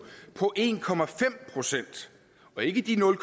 på en procent og ikke de nul